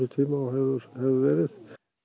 og hefur verið